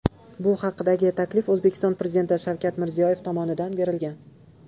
Bu haqdagi taklif O‘zbekiston Prezidenti Shavkat Mirziyoyev tomonidan berilgan.